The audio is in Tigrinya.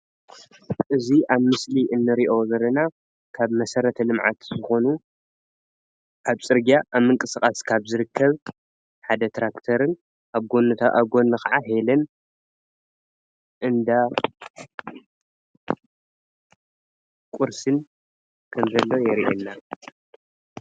እዚ ኣብ ምሰሊ እንርአዮ ዘለና ካብ መሰረተ ልምዓት ዝኾኑ ኣብ ፅረግያ ኣብ ምንቅስቃስ ካብ ዝርከብ ሓደ ትራክተርን ኣብ ጎኑ ከዓ ሄለን እንዳቁርስን ከምዘሎ የርእየና።